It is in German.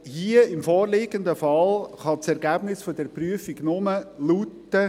Hier, im vorliegenden Fall, kann das Ergebnis dieser Prüfung nur lauten: